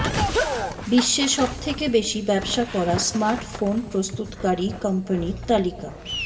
বিশ্বে সবথেকে বেশি ব্যবসা করা স্মার্টফোন প্রস্তুতকারী কোম্পানির তালিকা